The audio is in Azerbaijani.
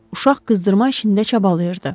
Uşaq qızdırma işində çabalayırdı.